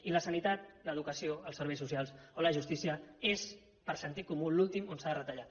i la sanitat l’educació els serveis socials o la justícia són per sentit comú l’últim on s’ha de retallar